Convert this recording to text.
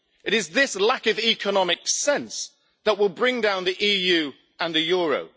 It is this lack of economic sense that will bring down the EU and the euro.